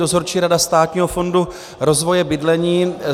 Dozorčí rada Státního fondu rozvoje bydlení.